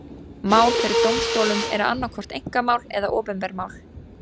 Mál fyrir dómstólum eru annað hvort einkamál eða opinber mál.